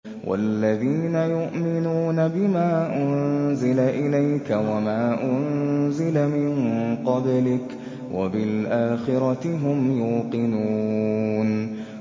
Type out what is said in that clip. وَالَّذِينَ يُؤْمِنُونَ بِمَا أُنزِلَ إِلَيْكَ وَمَا أُنزِلَ مِن قَبْلِكَ وَبِالْآخِرَةِ هُمْ يُوقِنُونَ